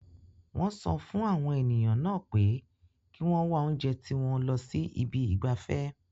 Wọ́n sọ fún àwọn ènìyàn náà pé kí wọ́n wá jẹ oúnjẹ tiwọn lọ sí ibi ìgbafẹ́.